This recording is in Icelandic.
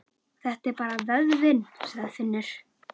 Þetta er bara vöðvinn, sagði Finnur.